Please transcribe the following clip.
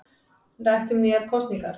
Rætt um nýjar kosningar